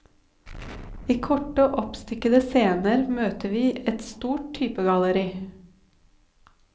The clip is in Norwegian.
I korte, oppstykkede scener møter vi et stort typegalleri.